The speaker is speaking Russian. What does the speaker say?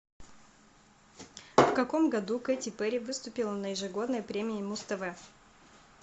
в каком году кэти перри выступила на ежегодной премии муз тв